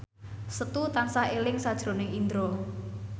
Setu tansah eling sakjroning Indro